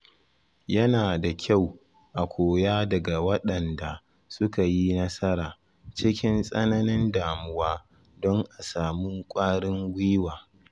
Yana da kyau a koya daga waɗanda suka yi nasara cikin tsananin damuwa don a samu kwarin gwiwa.